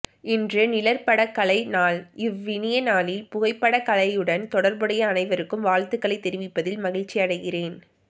இன்று நிழற்படக்கலை நாள் இவ் இனிய நாளில் புகைப்படக்கலையுடன் தொடர்புடைய அனைவருக்கும் வாழ்த்துக்களை தெரிவிப்பதில் மகிழ்ச்சி அடைகிறேன்